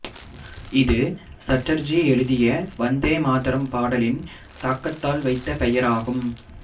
இது சட்டர்ஜி எழுதிய வந்தே மாதரம் பாடலின் தாக்கத்தால் வைத்த பெயராகும்